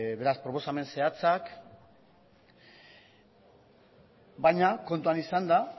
beraz proposamen zehatzak baina kontuan izanda